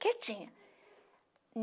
Quietinha.